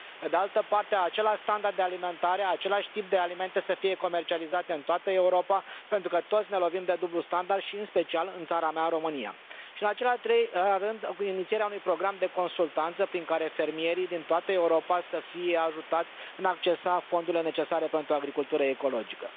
Pe de altă parte, aceleași standarde alimentare, același tip de alimente să fie comercializate în toată Europa, pentru că toți ne lovim de dublul standard, și în special în țara mea, România. Și în al treilea rând, inițierea unui program de consultanță prin care fermierii din toată Europa să fie ajutați în a accesa fondurile necesare pentru agricultură ecologică.